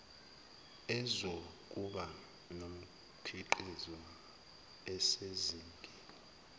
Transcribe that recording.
ezokuba nomkhiqizo osezingeni